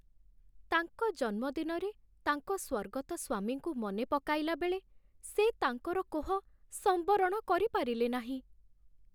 ତାଙ୍କ ଜନ୍ମଦିନରେ ତାଙ୍କ ସ୍ୱର୍ଗତ ସ୍ୱାମୀଙ୍କୁ ମନେ ପକାଇଲାବେଳେ ସେ ତାଙ୍କର କୋହ ସମ୍ବରଣ କରିପାରିଲେ ନାହିଁ।